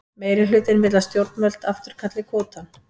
Meirihlutinn vill að stjórnvöld afturkalli kvótann